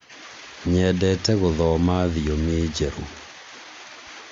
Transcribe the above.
nyendete gũthoma thiomi njerũ